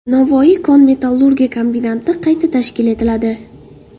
Navoiy kon-metallurgiya kombinati qayta tashkil etiladi.